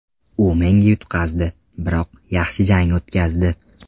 U menga yutqazdi, biroq yaxshi jang o‘tkazdi.